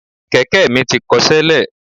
Kẹ̀kẹ́ mi ti kọṣẹ́ lẹ̀.